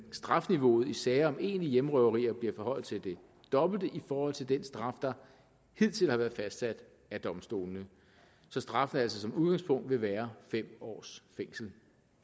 strafniveauet i sager om egentlige hjemmerøverier bliver forhøjet til det dobbelte i forhold til den straf der hidtil har været fastsat af domstolene så straffen altså som udgangspunkt vil være fem års fængsel